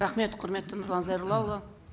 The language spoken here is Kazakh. рахмет құрметті нұрлан зайроллаұлы